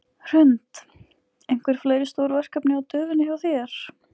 Hrund: Einhver fleiri stór verkefni á döfinni hjá þér?